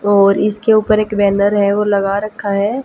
और इसके ऊपर एक बैनर है वो लगा रखा है।